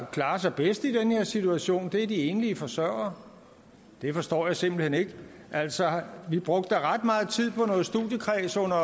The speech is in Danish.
klarer sig bedst i den her situation er de enlige forsørgere det forstår jeg simpelt hen ikke altså vi brugte ret meget tid på noget studiekreds under